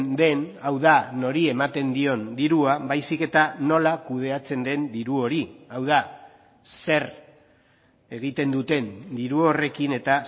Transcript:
den hau da nori ematen dion dirua baizik eta nola kudeatzen den diru hori hau da zer egiten duten diru horrekin eta